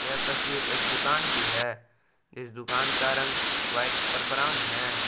यह तस्वीर एक दुकान की है इस दुकान का रंग व्हाइट और ब्राउन है।